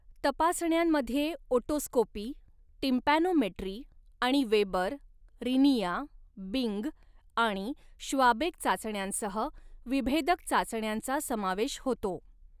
तपासण्यांमध्ये otoscopy, tympanometry आणि Weber, Rinne, Bing आणि Schwabach चाचण्यांसह विभेदक चाचण्यांचा समावेश होतो.